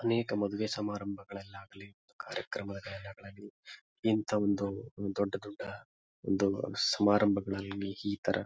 ಅನೇಕ ಮದುವೆ ಸಮಾರಂಬಗಳಲಾಗಲ್ಲಿ ಕಾರ್ಯಕ್ರಮದಲಾಗಲ್ಲಿ ಇಂತ ಒಂದು ದೊಡ್ಡ ದೊಡ್ಡ ಒಂದು ಸಮಾರಂಬಗಳಲ್ಲಿ ಈ ತರ.